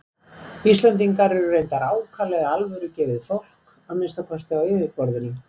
Íslendingar eru reyndar ákaflega alvörugefið fólk, að minnsta kosti á yfirborðinu.